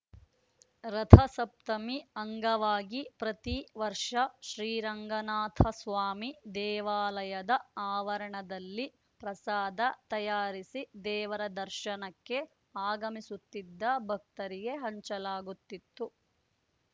ರಥಸಪ್ತಮಿ ಅಂಗವಾಗಿ ಪ್ರತಿ ವರ್ಷ ಶ್ರೀರಂಗನಾಥಸ್ವಾಮಿ ದೇವಾಲಯದ ಆವರಣದಲ್ಲಿ ಪ್ರಸಾದ ತಯಾರಿಸಿ ದೇವರ ದರ್ಶನಕ್ಕೆ ಆಗಮಿಸುತ್ತಿದ್ದ ಭಕ್ತರಿಗೆ ಹಂಚಲಾಗುತಿತ್ತು